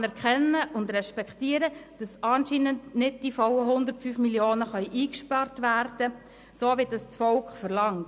Ich anerkenne und respektiere, dass anscheinend nicht die vollen 105 Mio. Franken eingespart werden können, so wie dies das Volk verlangt.